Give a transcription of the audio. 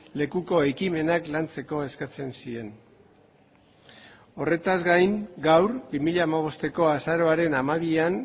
lekuko ekimenak lantzeko eskatzen zien horretaz gain gaur bi mila hamabosteko azaroaren hamabian